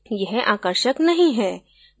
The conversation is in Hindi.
यह आकर्षक नहीं है